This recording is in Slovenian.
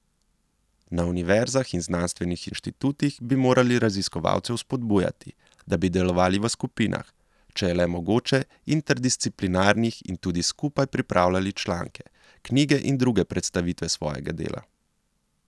Na univerzah in znanstvenih inštitutih bi morali raziskovalce vzpodbujati, da bi delovali v skupinah, če je le mogoče interdisciplinarnih, in tudi skupaj pripravljali članke, knjige in druge predstavitve svojega dela.